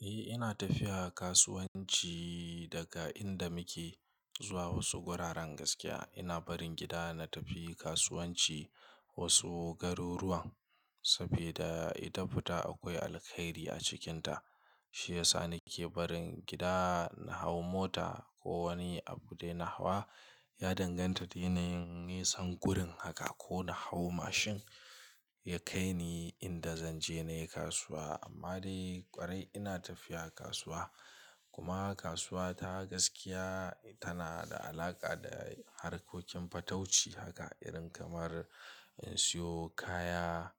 Eh, ina tafiya kasuwanci daga inda muke zuwa wasu guraren gaskiya. Ina barin gida na tafi kasuwanci wasu garuruwan saboda ita fita akwai alkhairi a cikinta. Shi yasa nake barin gida na hau mota ko wani abu dai na hawa. Ya danganta da yanayin, na yi san gurun haka ko na hau mashine ya kai ni inda zan je nayi kasuwa. Amma dai ƙwarai ina tafiya kasuwa. Kuma kasuwa ta gaskiya tana da alaƙa da harkokin fatauci haka irin kamar in siyo kaya.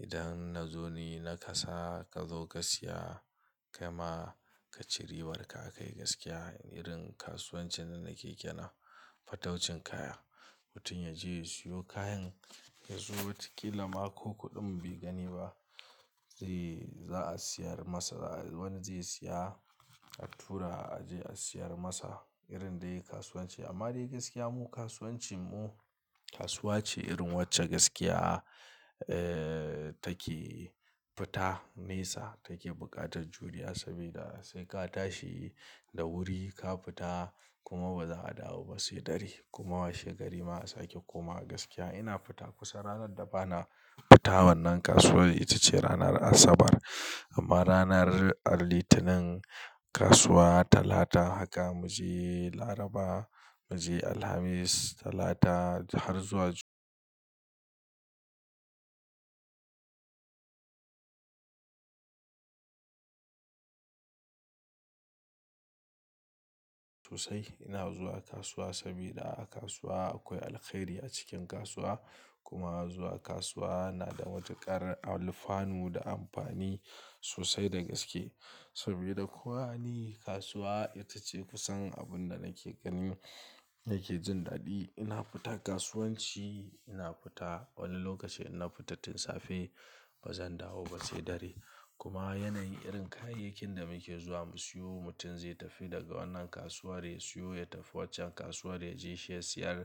Idan na zo ni na kasa ka zo ka siya kai ma ka ci ribar ka akai, gaskiya. Irin kasuwancin da nake kenan fataucin kaya. Mutum ya je ya siyo kayan ya zo wata ƙila ma ko kuɗin bai gani ba zai, za a siyar masa. Wani zai siya attura a je a siyar masa irin dai kasuwanci. Amma dai gaskiya mu kasuwancin mu kasuwa ce irin wacce gaskiya, eh, take fita nesa take buƙatar juri'a saboda sai ka tashi da wuri ka fita kuma ba za a dawo ba sai dare. Kuma washe gari ma a sake komawa gaskiya. Ina fita kusan ranar da bana fita wannan kasuwar ita ce ranar Asabar. Amma ranar Alitanin kasuwa Talata haka mu je Laraba mu je Alhamis Talata har zuwa Jumma'a sosai. Ina zuwa kasuwa saboda a kasuwa akwai alkhairi a cikin kasuwa. Kuma zuwa kasuwa yana da matu ƙar alfanu da amfani sosai da gaske. Saboda ko wane kasuwa ita ce kusan abun da nake gani yake jin daɗi. Ina fita kasuwanci, ina fita wani lokaci inna fita tun safe ba zan dawo ba sai dare. Kuma yanayin irin kayayyakin da muke zuwa mu siyo mutum zai tafi daga wannan kasuwar ya siyo, ya tafi waccan kasuwar ya je shi ya siyar.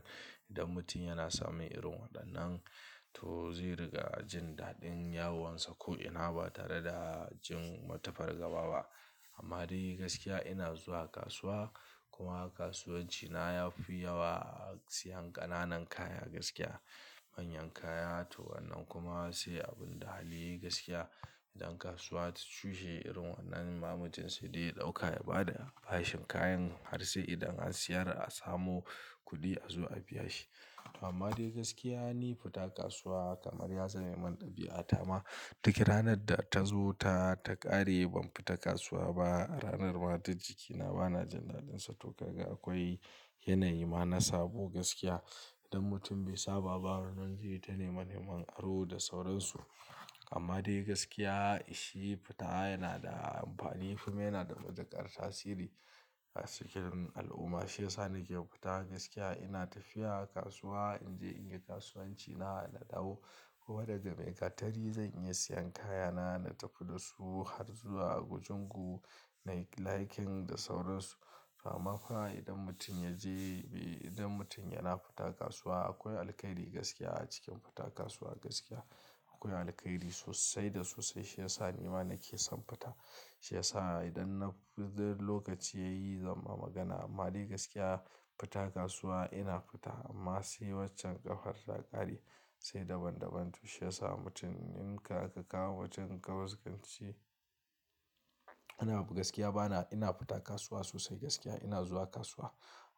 Idan mutum yana samun irin waɗannan, to zai riƙa jin daɗin yawuwansa ko ina ba tare da jin wata fargaba ba. Amma dai gaskiya ina zuwa kasuwa kuma kasuwancina ya fi yawa siyan ƙananan kaya gaskiya. Manyan kaya to wannan kuma sai abun da hali gaskiya idan kasuwa ta tushe irin wannan ma mutum sai dai ya ɗauka ya ba da, ba shi kayan har sai idan an siyar a samo kuɗi a zo a biya shi. Amma dai gaskiya ni fita kasuwa kamar ya zama iman ɗabi'a Tama, duk ranar da ta zo ta, ta ƙare ban fita kasuwa ba. Ranar ma ta ji kina bana jin daɗin sa. To kaga akwai yanayi ma na sabo gaskiya. Idan mutum bai saba ba wannan zai yi ta neme neman aro da sauransu. Amma dai gaskiya shi fita yana da amfani kuma yana da matu ƙar tasiri a cikin al'umma. Shi yasa nake fita gaskiya. Ina tafiya kasuwa in je in yi kasuwanci na da dawo. Kuma daga Maigatari zan iya siyan kayana na tafi da su har zuwa kujungu na yi laikin da sauransu. Amma fa idan mutum ya je, idan mutum yana fita kasuwa akwai alkhairi gaskiya a cikin fita kasuwa gaskiya. Akwai alkhairi sosai da sosai. Shi yasa ni ma nake son fita. Shi yasa idan na fita lokaci yayi zan ma magana. Amma dai gaskiya fita kasuwa ina fita amma sai waccan ƙafar ta ƙare sai daban daban. To shi yasa mutum in ka, ka kawo wancan ka gaskice. Ina abu gaskiya bana, ina fita kasuwa sosai gaskiya. Ina zuwa kasuwa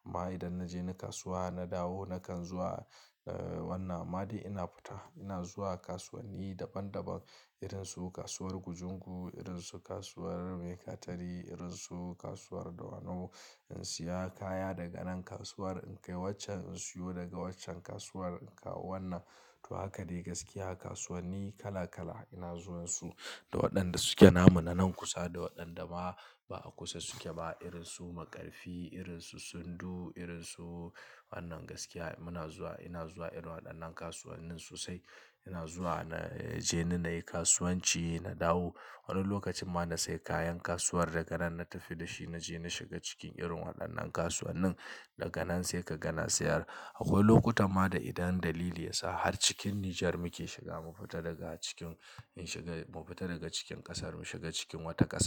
amma idan na je ni kasuwa na dawo nakan zuwa, eh, wannan. Amma dai ina fita ina zuwa kasuwanni daban daban irinsu kasuwar gujungu, irinsu kasuwar Maigatari, irinsu kasuwar Dawanau in siya kaya daga nan kasuwar in kai waccan in siyo daga waccan kasuwar in kawo wannan. To haka dai gaskiya kasuwanni kala kala ina zuwan su da waɗanda suke namu nan kusa da waɗanda ma ba a kusa suke ba irinsu Maƙarfi, irinsu Sundu, irinsu wannan gaskiya muna zuwa, ina zuwa irin waɗannan kasuwannin sosai. Ina zuwa na je ni na yi kasuwanci na dawo. Wani lokacin ma na sai kayan kasuwar daga nan na tafi da shi na je na shiga cikin irin waɗannan kasuwannin. Daga nan sai ka gana sayar. Akwai lokuta ma da idan dalili ya sa har cikin Nijar muke shiga mu fita daga cikin in shiga, mu fita daga cikin ƙasar mu shiga cikin wata ƙasa.